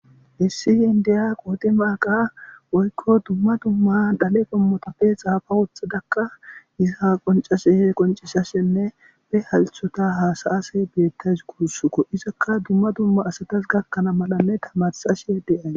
Issi indiya qodimagga woykko dumma dumma gadhe qoommota xaafa woththadakka iza qonccisashenne be hassayoyissa qonccisashe beetawus guussukko izakka dumma dumma asats gakana malanne tamaarisashe da'ewus